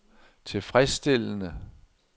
tilfredsstillende